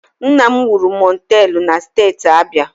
Nna m wuru mọteelụ na Steeti Abia